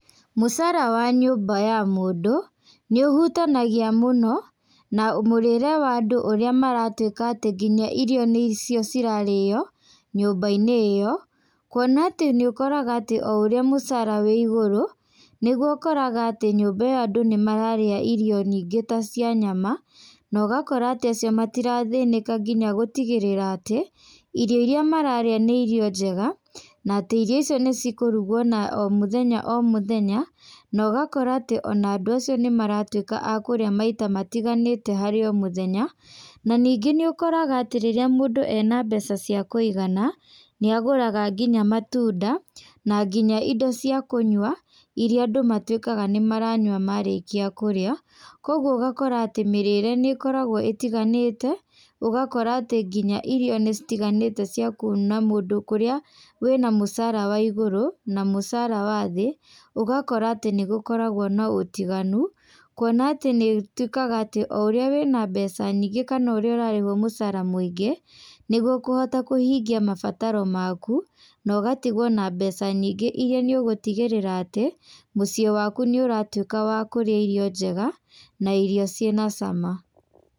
Mũcara wa nyũmba ya mũndũ, nĩ ũhutanagia mũno, na mũrĩre wa andũ ũrĩa maratuĩka atĩ nginya irio nĩ cio cirarĩo nyũmba-inĩ ĩyo. Kuona atĩ nĩ ũkoraga atĩ o ũrĩa mũcara wĩ igũrũ, nĩguo ũkoraga atĩ nyũmba ĩyo andũ nĩ mararĩa irio nyingĩ ta cia nyama, na ũgakora atĩ acio matirathĩnĩka nginya gũtigĩrĩra atĩ, irio irĩa mararĩa nĩ irio njega, na atĩ irio icio nĩ cikũrugwo na o mũthenya o mũthenya. Na ũgakora atĩ ona andũ acio nĩ maratuĩka a kũrĩa maita matiganĩte harĩ o mũthenya. Na ningĩ nĩ ũkoraga atĩ rĩrĩa mũndũ ena mbeca cia kũigana, nĩ agũraga nginya matunda, na nginya indo cia kũnyua, irĩa andũ matuĩkaga nĩ maranyua marĩkĩa kũrĩa. Kũguo ũgakora atĩ mĩrĩre nĩ ĩkoragwo ĩtiganĩte, ũgakora atĩ nginya irio nĩ citaganĩte cia kuona mũndũ kũrĩa wĩna mũcara wa igũrũ, na mũcara wa thĩ, ũgakora atĩ nĩ gũkoragwo na ũtiganu. Kuona atĩ nĩ ĩtuĩkaga atĩ o ũrĩa wĩna mbeca nyingĩ kana o ũrĩa ũrarĩhwo mũcara mũingĩ, nĩguo ũkũhota kũhingia mabataro maku, na ũgatigwo na mbeca nyingĩ irĩa nĩ ũgũtigĩrĩra atĩ, mũciĩ waku nĩ ũratuĩka wa kũrĩa irio njega, na irio ciĩna cama.